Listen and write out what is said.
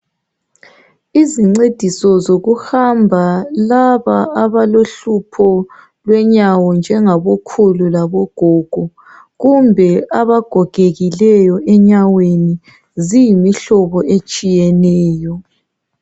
Izincediso zokuhamba, laba abalohlupho lwenyawo njengabokhulu labogogo kumbe abagogekileyo enyaweni, ziyimihlobo etshiyeneyo.